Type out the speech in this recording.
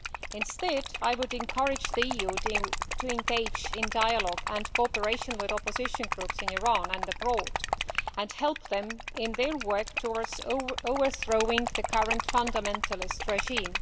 Instead, I would encourage the EU to engage in dialogue and cooperation with opposition groups in Iran and abroad, and help them in their work towards overthrowing the current fundamentalist regime.